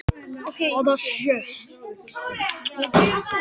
Skýst svo aftur upp í rúm.